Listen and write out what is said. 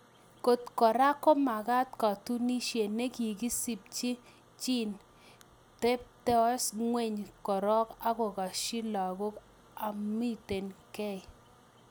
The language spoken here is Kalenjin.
Kot koraa komakatunisiet nekisimchiin chiin...tepitos ingweny korok agokasyin lagok amitun gei